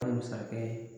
Masakɛ